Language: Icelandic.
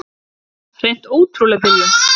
Hreint ótrúleg byrjun.